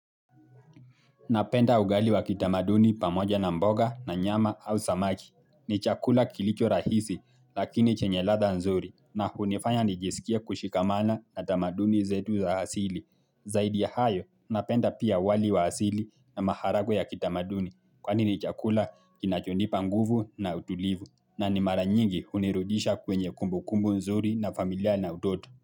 Napenda ugali wa kitamaduni pamoja na mboga na nyama au samaki. Ni chakula kilicho rahisi lakini chenye ladha nzuri na hunifanya nijisikie kushikamana na tamaduni zetu za asili. Zaidi ya hayo, napenda pia wali wa asili na maharagwe ya kitamaduni kwani ni chakula kinachonipa nguvu na utulivu na ni mara nyingi hunirudisha kwenye kumbu kumbu nzuri na familia na utoto.